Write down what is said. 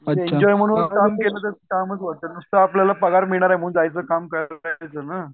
enjoy म्हणून काम केलं तर कामाचं वाटत नुसतं आपल्याला पगार मिळणार आहे म्हणून जायचं काम करायचं ना